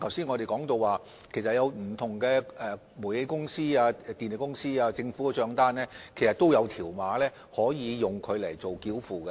我們剛才也提到，煤氣公司、電力公司和政府的帳單均設有條碼作繳費之用。